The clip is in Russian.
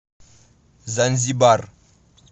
занзибар